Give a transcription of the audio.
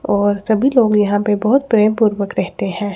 और सभी लोग यहां पे बहोत प्रेम पूर्वक रहते हैं।